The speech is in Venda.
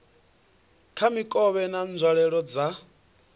kha mikovhe na nzwalelo dza